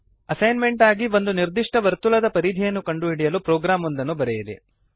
ಒಂದು ಅಸೈನ್ಮೆಂಟ್ ಎಂದು ಒಂದು ನಿರ್ದಿಷ್ಟ ವರ್ತುಳದ ಪರಿಧಿಯನ್ನು ಕಂಡುಹಿಡಿಯಲು ಪ್ರೋಗ್ರಾಂ ಒಂದನ್ನು ಬರೆಯಿರಿ